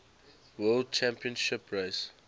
world championship race